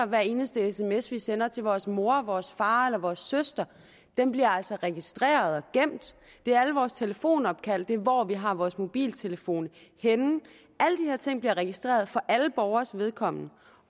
hver eneste sms vi sender til vores mor vores far eller vores søster bliver altså registreret og gemt det er alle vores telefonopkald det er hvor vi har vores mobiltelefon henne alle de her ting bliver registreret for alle borgeres vedkommende